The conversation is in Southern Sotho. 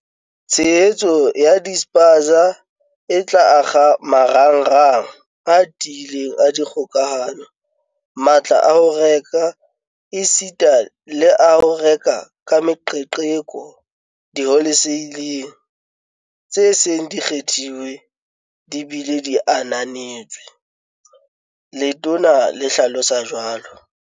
"Tshehetso ya dispaza e tla akga marangrang a tiileng a dikgokahano, matla a ho reka esita le a ho reka ka meqeqeko diholeseileng tse seng di kgethilwe di bile di ananetswe," Letona le hlalosa jwalo.